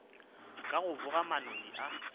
ka go boga manoni a